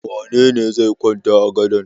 Wane ne zai kwanta a gadon?